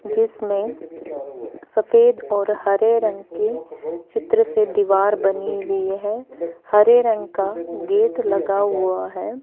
जिसमें सफेद और हरे रंग के चित्र से दीवार बनी हुईं हैं हरे रंग का गेट लगा हुआ हैं।